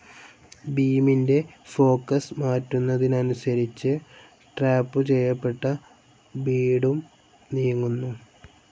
ബീമിന്റെ ഫോക്കസ്‌ മാറ്റുന്നതനുസരിച്ച് ട്രാപ്പ്‌ ചെയ്യപ്പെട്ട ബീഡും നീങ്ങുന്നു.